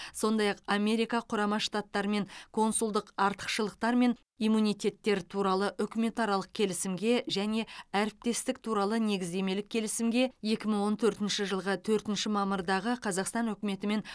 сондай ақ америка құрама штаттарымен консулдық артықшылықтар мен иммунитеттер туралы үкіметаралық келісімге және әріптестік туралы негіздемелік келісімге екі мың он төртінші жылғы төртінші мамырдағы қазақстан үкіметі мен